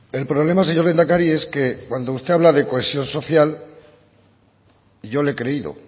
el problema señor lehendakari es que cuando usted habla de cohesión social yo le he creído